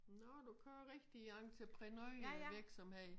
Nå du kører rigtig entreprenørvirksomhed